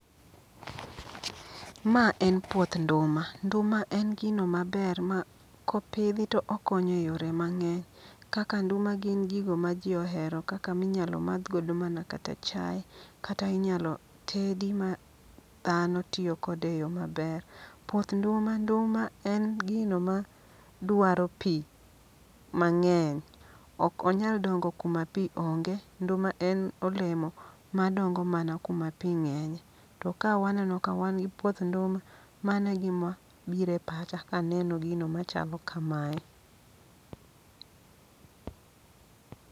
Ma en puoth nduma, nduma en gino maber ma kopidhi to okonyo e yore mang'eny. Kaka nduma gin gigo ma ji ohero, kaka minyalo madh go mana kata chai. Kata inyalo tedi ma dhano tiyo kode e yo maber. Puoth nduma nduma en gino ma dwaro pi mang'eny, ok onyal dongo kuma pi onge. Nduma en olemo ma dongo mana kuma pi ng'enye, to ka waneno ka wan gi puoth nduma. Mano e gima bire pacha kaneno gino machalo kamae.